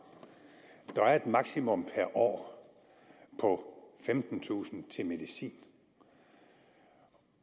der er et maksimum per år på femtentusind kroner til medicin